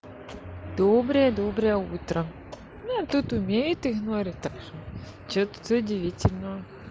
доброе доброе утро ну кто-то умеет игнорить так что тут удивительного